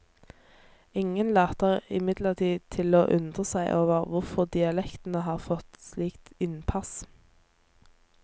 Ingen later imidlertid til å undre seg over hvorfor dialektene har fått slik innpass.